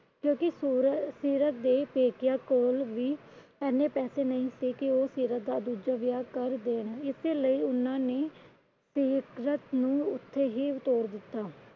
ਕਿਉਂਕਿ ਸੀਰਤ ਦੇ ਪੇਕਿਆਂ ਕੋਲ ਵੀ ਏਨੇ ਪੈਸੇ ਨਹੀਂ ਸਨ। ਕਿ ਉਹ ਸੀਰਤ ਦਾ ਦੂਜਾ ਵਿਆਹ ਕਰ ਦੇਣ। ਇਸੇ ਲਈ ਉਹਨਾਂ ਨੇ ਸੀਰਤ ਨੂੰ ਉੱਥੇ ਹੀ ਤੋਰ ਦਿੱਤਾ।